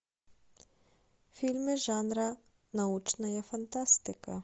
фильмы жанра научная фантастика